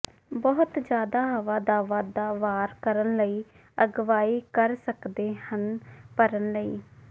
ਬਹੁਤ ਜ਼ਿਆਦਾ ਹਵਾ ਦਾ ਵਾਧਾ ਵਾਰ ਕਰਨ ਲਈ ਅਗਵਾਈ ਕਰ ਸਕਦੇ ਹਨ ਭਰਨ ਲਈ